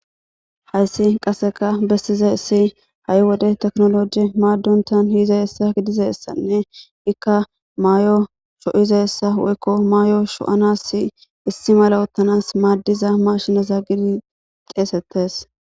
Hayssi qase beessizayssi ha'i wode tekenollejje maadonta gizayssanne ikka mayo tookosanas woyko mayo sho'anasi issi mala oothanasi maddiza mishane geeteti xeesetees.